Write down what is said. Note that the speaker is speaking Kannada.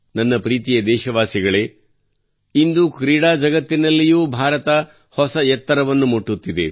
ನನ್ನ ಪ್ರೀತಿಯ ದೇಶವಾಸಿಗಳೇ ಇಂದು ಕ್ರೀಡಾ ಜಗತ್ತಿನಲ್ಲಿಯೂ ಭಾರತ ಹೊಸ ಎತ್ತರವನ್ನು ಮುಟ್ಟುತ್ತಿದೆ